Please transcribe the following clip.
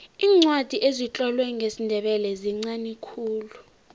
iincwadi ezitlolwe ngesindebele zinqani khulu